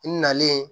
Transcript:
N nalen